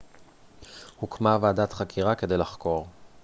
הוקמה ועדת חקירה כדי לחקור